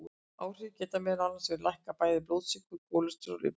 Áhrifin geta meðal annars verið að lækka bæði blóðsykur og kólesteról í blóði.